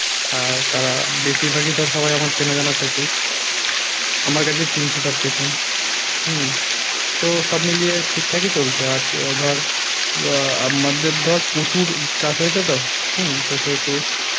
আর তারা বেশিরভাগই ধর সবাই আমার চেনা জানা সেহেতু আমার কাছে কিনছে সব কিছু হম তো সব মিলিয়ে ঠিকঠাকই চলছে আর ধর আহ আমাদের ধর প্রচুর চাষ হয়ছে তো হম তো সেহেতু